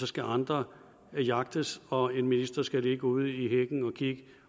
skal andre jagtes og en minister skal ligge ude i hækken og kigge